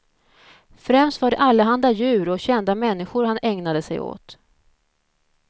Främst var det allehanda djur och kända människor han ägnade sig åt.